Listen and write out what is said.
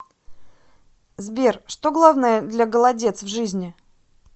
сбер что главное для голодец в жизни